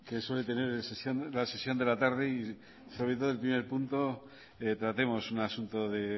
que suele tener la sesión de la tarde y sabiendo desde el primer punto tratemos un asunto de